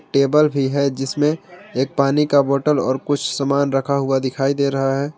Table भी है जिसमें एक पानी का बॉटल और कुछ सामान रखा हुआ दिखाई दे रहा है।